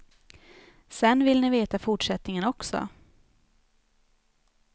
Sen vill ni veta fortsättningen också.